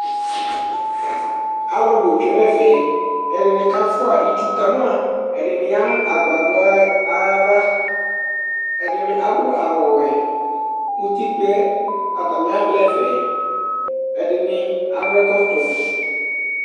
Alʋ bʋ tsue nʋ ɛfɛ Ɛdɩnɩ kafʋa itsu ka ma Ɛdɩnɩ ya nʋ agbadɔ yɛ ayava Ɛdɩnɩ adʋ awʋwɛ Utikpǝ yɛ, atanɩ avlɩ ɛfɛ Ɛdɩnɩ adʋ ɛkɔtɔ